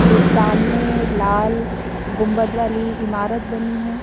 एक सामने लाल गुंबद वाली इमारत बनी है।